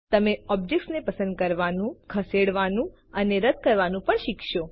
તમે ઓબ્જેક્ટ ને પસંદ કરવાનું ખસેડવાનું અને રદ કરવાનું પણ શીખશો